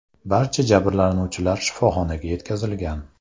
Barcha jabrlanuvchilar shifoxonaga yetkazilgan.